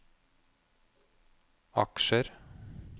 aksjer